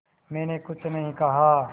मैंने कुछ नहीं कहा